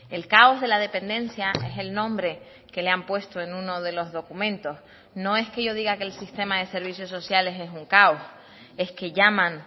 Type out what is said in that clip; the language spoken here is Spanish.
el caos de la dependencia es el nombre que le han puesto en uno de los documentos no es que yo diga que el sistema de servicios sociales es un caos es que llaman